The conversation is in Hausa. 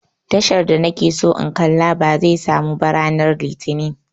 Tashar da na ke so in kalla ba zai samu ba ranar litinin